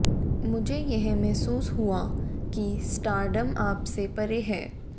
मुझे यह महसूस हुआ कि स्टारडम आप से परे है